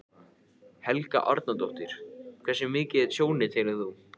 Helga Arnardóttir: Hversu mikið er tjónið, telur þú?